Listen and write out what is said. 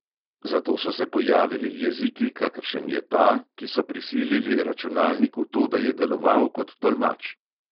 Zato so se pojavili jeziki, kakršen je ta, ki so prisilili računalnik v to, da je deloval kot tolmač.